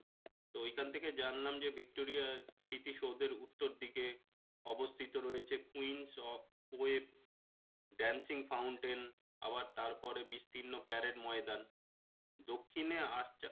তো ওইখান থেকে জানলাম যে ভিক্টোরিয়ার স্মৃতিসৌধের উত্তর দিকে অবস্থিত রয়েছে dancing fountain আবার তারপরে বিস্তিন্ন প্যারেড ময়দান দক্ষিণে